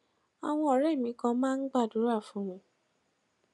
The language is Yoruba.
àwọn òré mi kan máa ń gbàdúrà fún mi